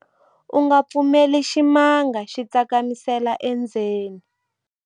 u nga pfumeleli ximanga xi tsakamisela endzeni